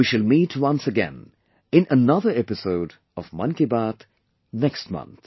We shall meet once again in another episode of 'Mann Ki Baat' next month